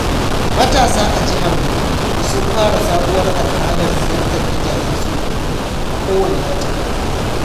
Matasa a Jihar Gombe sun fara sabuwar al’adar ziyartar gidajen tsofaffi a kowane wata.